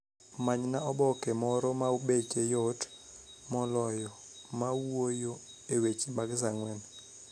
Manyna oboke moro ma beche yot moloyo ma wuoyo e weche mag saa ang'wen